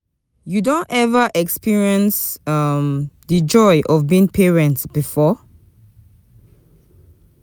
You don ever experience um di joy of being parent before?